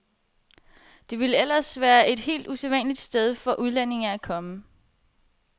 Det vil ellers være et helt usædvanligt sted for udlændinge at komme.